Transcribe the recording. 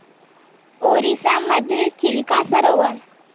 ओरिसा मधील चिल्का सरोवर